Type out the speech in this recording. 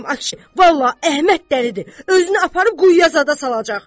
Vallah Əhməd dəlidir, özünü aparıb quyuya zada salacaq.